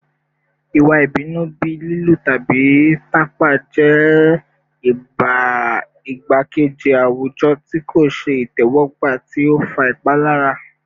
Iwa ibinu bii lilu tabi tapa jẹ igbakeji awujọ ti ko ṣe itẹwọgba ti o fa ipalara